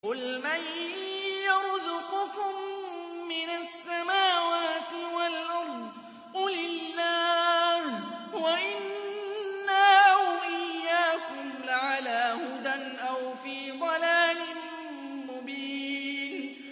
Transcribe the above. ۞ قُلْ مَن يَرْزُقُكُم مِّنَ السَّمَاوَاتِ وَالْأَرْضِ ۖ قُلِ اللَّهُ ۖ وَإِنَّا أَوْ إِيَّاكُمْ لَعَلَىٰ هُدًى أَوْ فِي ضَلَالٍ مُّبِينٍ